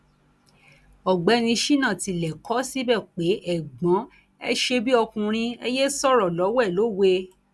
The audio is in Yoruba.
ọgbẹni sina tilẹ kọ ọ síbẹ pé ẹgbọn ẹ ṣe bíi ọkùnrin ẹ yéé sọrọ lọwẹ lọwẹ